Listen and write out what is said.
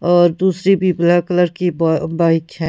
और दूसरी भी ब्लैक कलर की ब बाइक है।